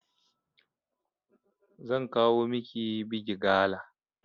Zan kawo miki bigi gala